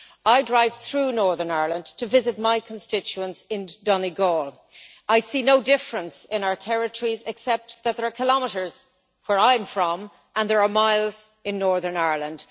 I drive through Northern Ireland to visit my constituents in Donegal. I see no difference in our territories except that there are kilometres where I am from and there are miles in Northern Ireland.